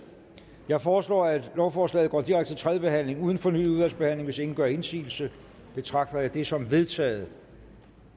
jeg foreslår at lovforslaget går direkte til tredje behandling uden fornyet udvalgsbehandling hvis ingen gør indsigelse betragter jeg det som vedtaget